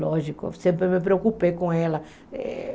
Lógico, sempre me preocupei com ela.